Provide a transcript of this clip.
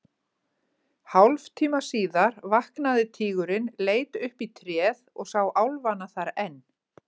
Hálftíma síðar vaknaði tígurinn, leit upp í tréð og sá álfana þar enn.